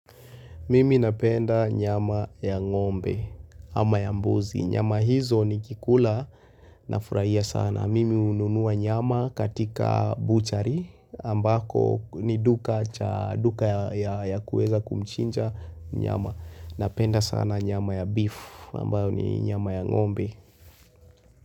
Mimi napenda nyama ya ngombe ama ya mbuzi. Nyama hizo nikikula nafurahia sana. Mimi hununua nyama katika buchari ambako ni duka ya kueza kumchinja nyama. Napenda sana nyama ya beef ambayo ni nyama ya ngombe.